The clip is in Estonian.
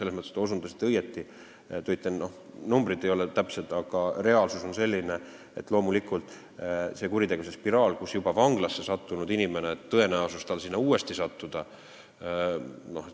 Te ütlesite õigesti, numbrid ei ole täpsed, aga reaalsus on selline, et loomulikult on juba vanglasse sattunud inimesel tõenäosus kuritegevuse spiraali uuesti sattuda.